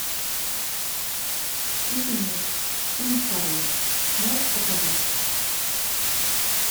щит и меч фильм второй можешь показать